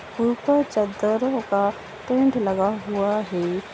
ऊपर चदरों का टेंट लगा हुआ है। लगा हुआ हैं।